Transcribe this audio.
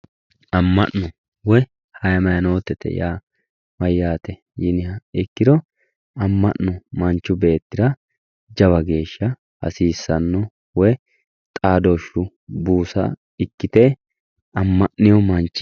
Ama'no, woy hayimanotete ya mayaate yiniha ikiro ama'no manchu beetira jawa geesha hasiisano woy xaadooshu buusa ikite ama'nee manchi